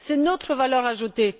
C'est notre valeur ajoutée.